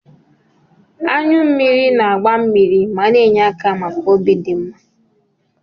Anyụ mmiri na-agba mmiri ma na-enye aka maka obi dị mma.